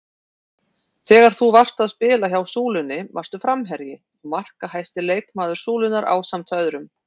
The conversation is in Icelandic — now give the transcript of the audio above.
Þegar þú varst að spila hjá Súlunni varstu framherji og markahæsti leikmaður Súlunnar ásamt öðrum?